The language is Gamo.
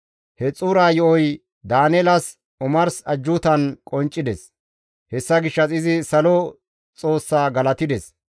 He xuura yo7oy Daaneelas omarsi ajjuutan qonccides; hessa gishshas izi salo Xoossa galatides.